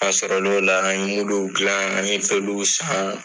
A sɔrɔ la o la an ye dilan an ye peluw san.